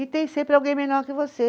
E tem sempre alguém melhor que você.